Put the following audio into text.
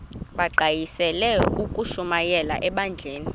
bagqalisele ukushumayela ebandleni